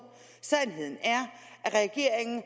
sandheden er at regeringen